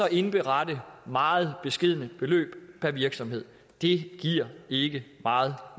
indberette meget beskedne beløb per virksomhed det giver ikke meget